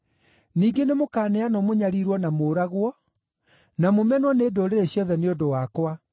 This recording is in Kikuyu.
“Ningĩ nĩmũkaneanwo mũnyariirwo na mũũragwo, na mũmenwo nĩ ndũrĩrĩ ciothe nĩ ũndũ wakwa.